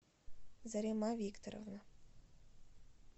зарима викторовна